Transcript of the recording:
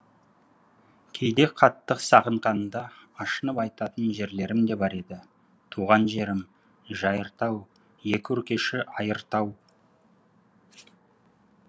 кейде қатты сағынғанда ашынып айтатын жерлерім де бар еді туған жерім жайыртау екі өркеші айыр тау